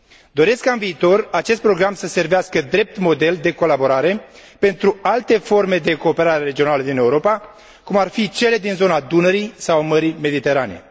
Doresc ca, în viitor, acest program să servească drept model de colaborare pentru alte forme de cooperare regională din Europa, cum ar fi cele din zona Dunării sau a Mării Mediterane.